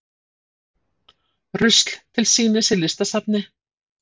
Rusl til sýnis í listasafni